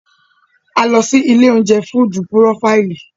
A lọ sí ilé-oúnjẹ Fúdúú Purofàìlì.